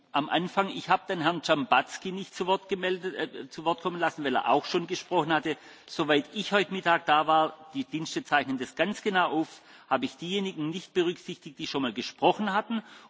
Ich habe am Anfang Herrn Dzhambazki nicht zu Wort kommen lassen, weil er auch schon gesprochen hatte. Soweit ich heute Mittag da war die Dienste zeichnen das ganz genau auf habe ich diejenigen nicht berücksichtigt, die schon einmal gesprochen hatten.